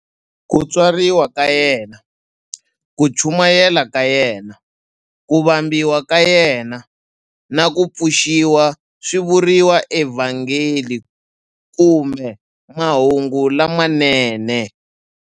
Ku tswariwa ka yena, ku chumayela ka yena, ku vambiwa ka yena, na ku pfuxiwa swi vuriwa eVhangeli kumbe"Mahungu lamanene".